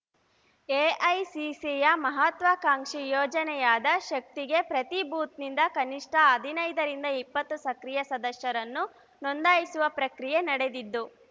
ಎಐಸಿಸಿಯ ಮಹಾತ್ವಾಕಾಂಕ್ಷಿ ಯೋಜನೆಯಾದ ಶಕ್ತಿಗೆ ಪ್ರತಿ ಬೂತ್‌ನಿಂದ ಕನಿಷ್ಠ ಹದಿನೈದರಿಂದ ಇಪ್ಪತ್ತು ಸಕ್ರಿಯ ಸದಸ್ಯರನ್ನು ನೋಂದಾಯಿಸುವ ಪ್ರಕ್ರಿಯೆ ನಡೆದಿದ್ದು